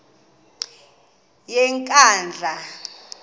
yenkandla